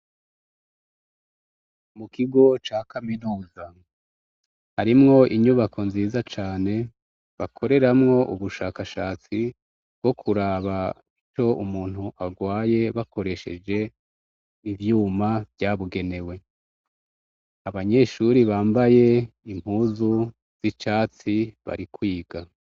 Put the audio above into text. Mukigo cakaminuza harimwo inyubako nziza cane bakoramwo ubushaka shatsi bwo kuraba ico umuntu arwaye bakoresheje ivyuma vyabigenewe abanyeshure bambaye impuzu zicatsi bari kwiga